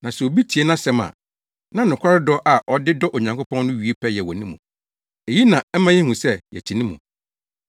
Na sɛ obi tie nʼasɛm a, na nokware dɔ a ɔde dɔ Onyankopɔn no wie pɛyɛ wɔ ne mu. Eyi na ɛma yehu sɛ yɛte ne mu.